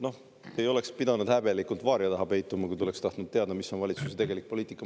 Noh, te ei oleks pidanud häbelikult varia taha peituma, kui te oleks tahtnud teada, mis on valitsuse tegelik poliitika.